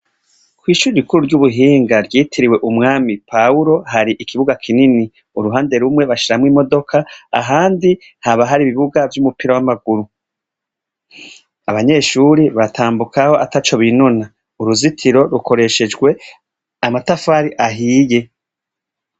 Kw'ishure rikuru ry'ubuhinga ryitiriwe umwami Pahuro hari ikibuga kinini. Uruhande rumwe bashiramwo imodoka ahandi haba hari ibibuga vyumupira w'amaguru. Abanyeshure batambuka ataco binona. Uruzitiro rukoreshejwe amatafari ahiye.